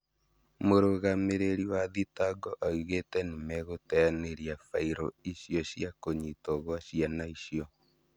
Mũrũgamĩrĩri wa thitango oigĩte nĩmegũteanĩria fairo icio cia kũnyitwo gwa ciana icio